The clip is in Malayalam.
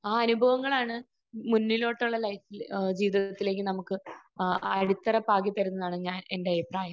ആ അനുഭവങ്ങളാണ് മുന്നിലോട്ടുള്ള ലൈഫിൽ ജീവിതത്തിലേക്ക് നമുക്ക് ആ അടിത്തറ പാകിത്തരുമെന്നാണ് ഞാൻ എന്റെ അഭിപ്രായം.